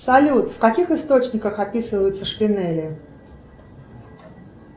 салют в каких источниках описываются шпинели